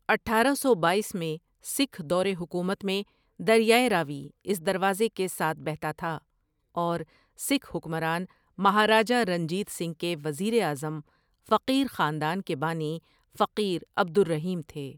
اٹھارہ سو بایس میں سکھ دور حکومت میں دریائے راوی اس دروازے کے ساتھ بہتا تھا اور سکھ حکمران مہاراجا رنجیت سنگھ کے وزیر اعظم فقیر خاندان کے بانی فقیر عبد الرحیم تھے ۔